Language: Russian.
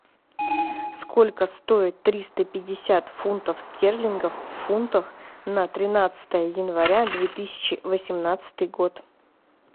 сколько стоит триста пятьдесят фунтов стерлингов в фунтах на тринадцатое января две тысячи восемнадцатый год